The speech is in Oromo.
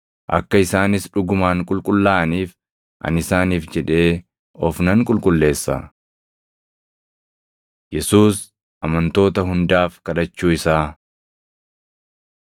Akka isaanis dhugumaan qulqullaaʼaniif, ani isaaniif jedhee of nan qulqulleessa. Yesuus Amantoota Hundaaf Kadhachuu Isaa